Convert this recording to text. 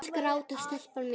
Hættu að gráta, telpa mín.